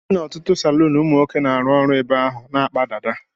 I jee n'otutu salun ụmụnwoke na-aru ọrụ ebe ahụ na-akpa dada.